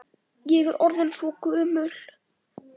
Ég er orðin svo gömul.